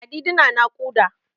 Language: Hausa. Ladidi na naƙuda.